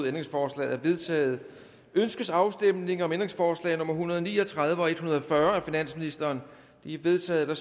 ændringsforslaget er vedtaget ønskes afstemning om ændringsforslag nummer en hundrede og ni og tredive og en hundrede og fyrre af finansministeren de er vedtaget der